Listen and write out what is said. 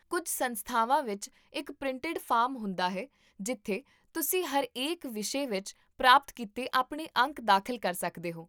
ਕੁੱਝ ਸੰਸਥਾਵਾਂ ਵਿੱਚ ਇੱਕ ਪ੍ਰਿੰਟਿਡ ਫਾਰਮ ਹੁੰਦਾ ਹੈ ਜਿੱਥੇ ਤੁਸੀਂ ਹਰੇਕ ਵਿਸ਼ੇ ਵਿੱਚ ਪ੍ਰਾਪਤ ਕੀਤੇ ਆਪਣੇ ਅੰਕ ਦਾਖਲ ਕਰ ਸਕਦੇ ਹੋ